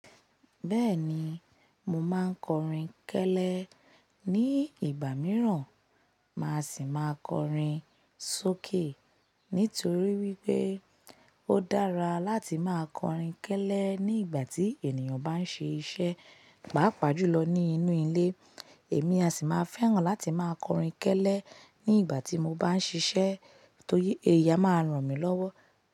Bẹ́ẹ̀ni, mo máa ń kọrin kẹ́lẹ́ ní ìgbà mìíràn, màá sì máa kọrin sókè. Nítorí wípé ó dára láti máa kọrin kẹ́lẹ́ ní ìgbà tí ènìyàn bá ń ṣe iṣẹ́, pàápàá jùlọ ní inú ilé. Èmi a sì máa fẹ́ràn láti máa kọrin kẹ́lẹ́ ní ìgbà tí mo bá ń ṣíṣẹ́ torí ẹyi a máà ń ràn mí lọ́wọ́.